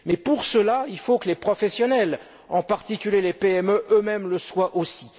Mais pour cela, il faut que les professionnels, en particulier les PME elles mêmes, le soient aussi.